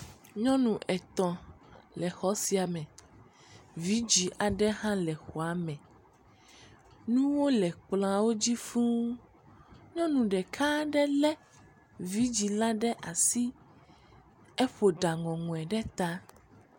Nyɔnu etɔ̃ le xɔ sia me. Vɛ̃dzi aɖe hã le xɔ sia me. Nuwo le kplɔ̃awo dzi fũu. Nyɔnu ɖeka lé vɛ̃dzi la ɖe asi, eƒo ɖa ŋɔŋɔe ɖe ta.